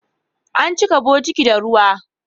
An cika bokiti da ruwa.